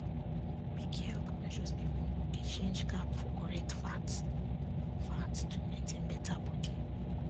make healthconscious people dey change carb for correct fat fat to maintain better body